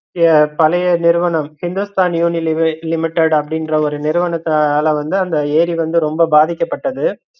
ய பழைய நிறுவனம் hindustan unilever limited அப்படின்ற ஒரு நிருவனத்துனால அந்த எரி வந்து ரொம்ப பாதிக்கப்பட்டது